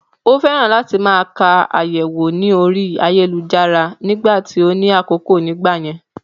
Ó fẹ́ràn láti máa ka àyẹ̀wò ní orí ayélujára nìgbà tí ó ní àkókò nìgbà yẹn